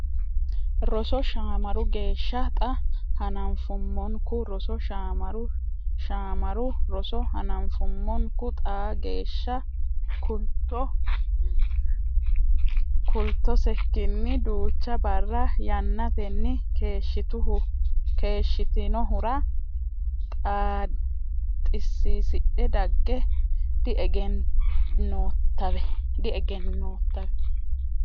roso Shaamaru geeshsha Xaa hananfummonku roso Shaamaru Shaamaru roso hananfummonku Xaa geeshsha kultusekkinni duucha barra yannatenni keeshshitinohura xissiisidhe dagge diegennoottawe !